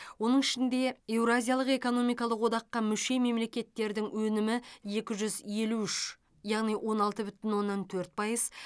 оның ішінде еуразиялық экономикалық одаққа мүше мемлекеттердің өнімі екі жүз елу үш яғни он алты бүтін оннан төрт пайыз